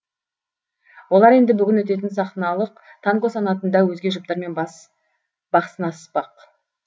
олар енді бүгін өтетін сахналық танго санатында өзге жұптармен бақ сынаспақ